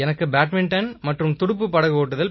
badminton துடுப்புப் படகோட்டுதல்